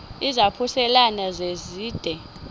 izaphuselana se zide